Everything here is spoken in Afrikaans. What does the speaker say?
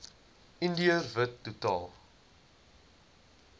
indiër wit totaal